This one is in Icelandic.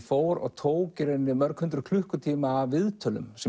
fór og tók mörg hundruð klukkutíma af viðtölum sem